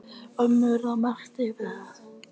Umorða mætti kvæðið og gæti uppskriftin þá hljóðað svona: